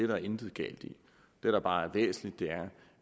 der intet galt i det der bare er væsentligt